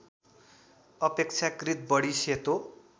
अपेक्षाकृत बढी सेतो